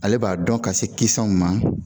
Ale b'a dɔn ka se kisɛw ma